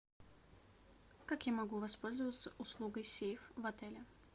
как я могу воспользоваться услугой сейф в отеле